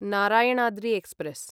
Narayanadri express